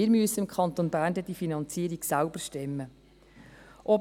Wir müssen im Kanton Bern die Finanzierung dann selbst stemmen.